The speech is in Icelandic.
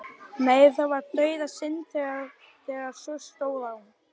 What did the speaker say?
Nei, það var dauðasynd þegar svo stóð á.